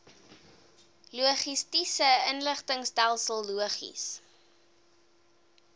logistiese inligtingstelsel logis